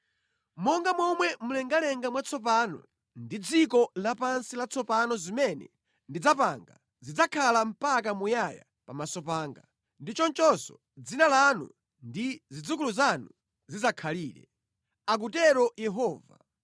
“Monga momwe mlengalenga mwatsopano ndi dziko lapansi latsopano zimene ndidzapanga zidzakhala mpaka muyaya pamaso panga, ndi chonchonso dzina lanu ndi zidzukulu zanu zidzakhalire.” Akutero Yehova.